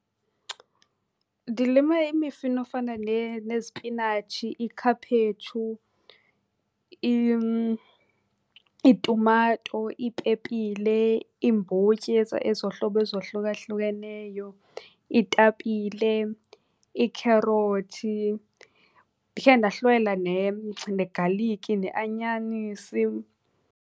Ndilime imifino efana nezipinatshi, iikhaphetshu, iitumato, iipepile, iimbotyi ezohlobo ezohlukahlukeneyo, iitapile, iikherothi. Ndikhe ndahlwayela negaliki neanyanisi.